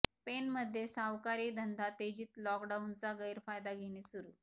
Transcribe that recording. पेणमध्ये सावकारी धंदा तेजीत लॉकडाऊनचा गैरफायदा घेणे सुरु